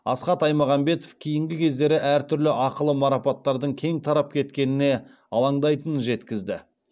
асхат аймағамбетов кейінгі кездері әртүрлі ақылы марапаттардың кең тарап кеткеніне алаңдайтынын жеткізді